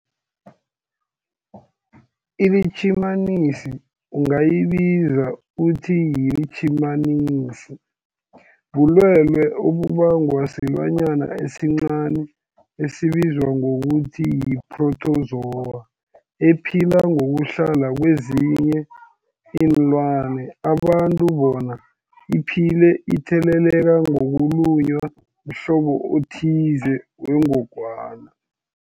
iLitjhimanisi ungayibiza uthiyilitjhimanisi, bulwelwe obubangwa silwanyana esincani esibizwa ngokuthiyi-phrotozowa ephila ngokuhlala kezinye iinlwana, abantu bona iphile itheleleka ngokulunywa mhlobo othize wengogwana.